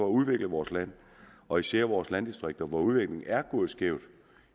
udvikle vores land og især vores landdistrikter hvor udviklingen er gået skævt